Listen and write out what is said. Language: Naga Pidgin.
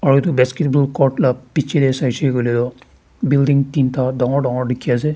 aru edu basketball cord la bichae tae saishey koilae tu building teen ta dangor dangor dikhiase.